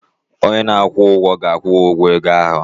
Onye na-akwụ ụgwọ ga-akwụ gi ụgwọ ego ahụ